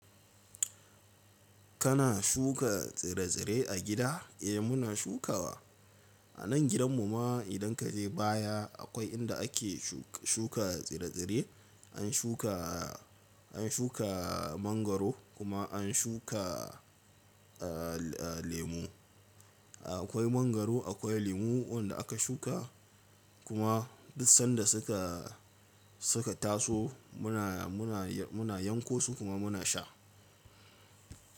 Kana shuka tsire-tsire a gida? Eh muna shukawa. A nan gidan mu ma idan ka je baya akwai inda ake shuka tsire-tsire, an shuka, an shuka mangwaro kuma an shuka lemu. Akwai mangwaro, akwai lemu wanda aka shuka kuma duk sanda suka, suka taso muna, muna yanko su kuma muna sha.